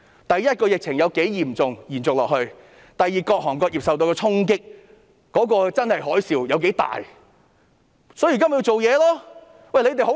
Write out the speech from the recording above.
第一，是疫情有多嚴重，會否延續下去；第二，是各行各業受到的衝擊，那個真正的海嘯有多大，所以現在就要做事。